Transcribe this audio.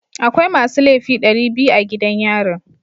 Akwai masu laifi dari biyu a gidan yarin.